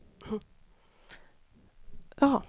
Hälsovårdsproblemen är ungefär likadana i alla industriländer.